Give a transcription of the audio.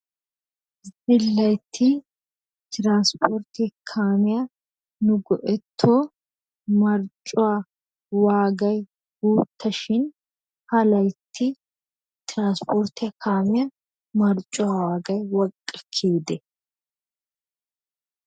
Zilaytta transportte kaamiya nu go"etto marccuwaa waagay guuttashin ha laytti transportte kaamiya marccuwa waagay woqqa kiyyide?